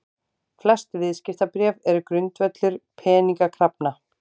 Flest viðskiptabréf eru grundvöllur peningakrafna.